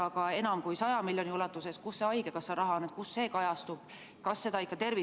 Aga enam kui 100 miljoni ulatuses – kus see haigekassa raha on, kus see kajastub?